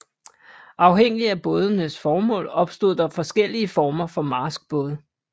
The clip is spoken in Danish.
Afhængig af bådenes formål opstod der forskellige former for marskbåde